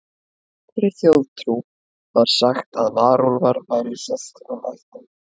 Í írskri þjóðtrú var sagt að varúlfar væru í sérstökum ættum.